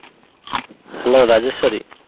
Hello Rajeshwari.